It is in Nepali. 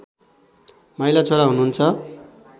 माइला छोरा हुनुहुन्छ